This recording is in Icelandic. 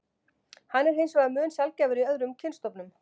Hann er hins vegar mun sjaldgæfari í öðrum kynstofnum.